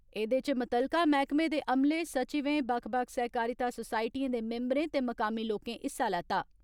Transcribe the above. एदे इच मुतलका मैहकमे दे अमले, सचिवें, बक्ख बक्ख सहकारिता सोसायटिएं दे मिम्बरें ते मुकामी लोकें हिस्सा लैता।